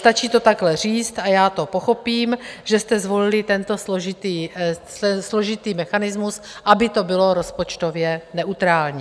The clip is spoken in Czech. Stačí to takhle říct a já to pochopím, že jste zvolili tento složitý mechanismus, aby to bylo rozpočtově neutrální.